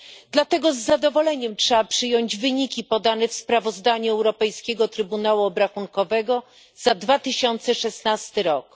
Dlatego z zadowoleniem trzeba przyjąć wyniki podane w sprawozdaniu Europejskiego Trybunału Obrachunkowego za 2016 rok.